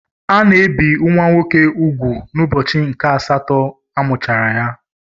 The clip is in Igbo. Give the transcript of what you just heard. Ana ebe nwa nwoke ùgwù n'ụbọchị nke asatọ amụchara ha.